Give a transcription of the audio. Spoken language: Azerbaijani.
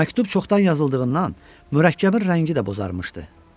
Məktub çoxdan yazıldığından mürəkkəbin rəngi də bozarmışdı.